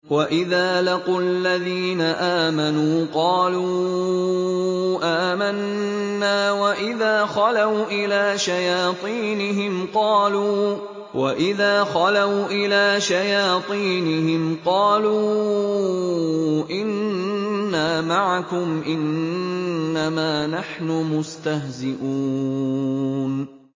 وَإِذَا لَقُوا الَّذِينَ آمَنُوا قَالُوا آمَنَّا وَإِذَا خَلَوْا إِلَىٰ شَيَاطِينِهِمْ قَالُوا إِنَّا مَعَكُمْ إِنَّمَا نَحْنُ مُسْتَهْزِئُونَ